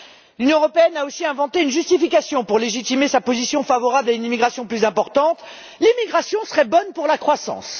L'Union européenne a aussi inventé une justification pour légitimer sa position favorable à une immigration plus importante l'immigration serait bonne pour la croissance!